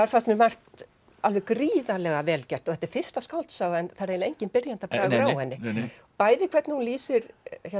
fannst mér margt alveg gríðarlega vel gert og þetta er fyrsta skáldsaga en það er eiginlega enginn byrjandabragur á henni bæði hvernig hún lýsir